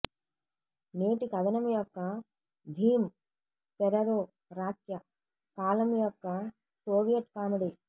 నేటి కథనం యొక్క థీమ్ పెరెరోరాక్య కాలం యొక్క సోవియట్ కామెడీ